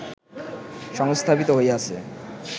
সংস্থাপিত হইয়াছে